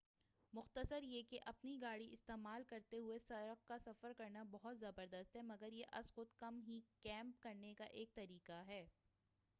مُختصر یہ کہ اپنی گاڑی استعمال کرتے ہُوئے سڑک کا سفر کرنا بہت زبردست ہے مگر یہ ازخُود کم ہی کیمپ کرنے کا ایک طریقہ ہے